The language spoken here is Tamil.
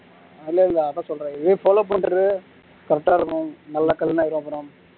இல்ல இல்ல அதான் சொல்றேன் follow பண்ணுறது correct ஆ இருக்கணும் நல்ல